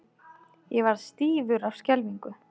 Ég varð stífur af skelfingu.